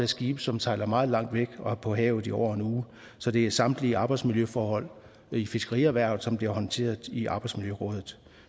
skibe som sejler meget langt væk og er på havet i over en uge så det er samtlige arbejdsmiljøforhold i fiskerierhvervet som bliver håndteret i fiskeriets arbejdsmiljøråd